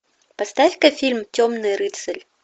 поставь ка фильм темный рыцарь